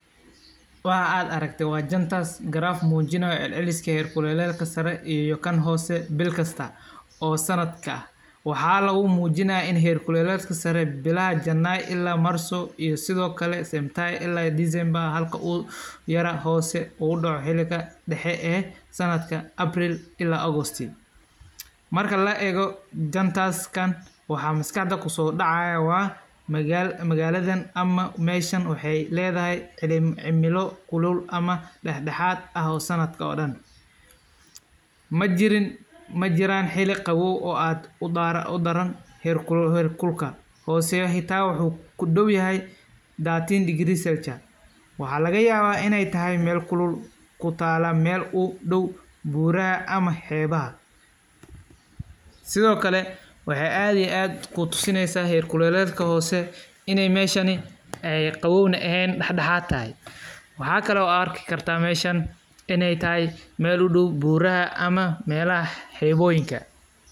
Savannah-da ayaa mar walba lagu dareema xilli kulaylka ah, marka ay qorraxdu si xooggan u shido oo heerkulka kor u kaco ilaa ama ka badan, hawo kulul oo aan habboonayn ayaa duushaya, dhulka oo qallalan iyo cawska oo midho la'aan ah ayaa muuqda, xayawaanka oo ay adag tahay inay raadsadaan biyo iyo daaq ayaa ku nool xaalad adag, dadka deganaanshaha ku nool waa ay u baahan yihiin qalab kaydinta biyaha iyo hababka lagaga hortago qiiqaynta, marka heerkulku yahay mid aad u sareeya waxay keenaan kartaa cidhiidhi maskaxeed.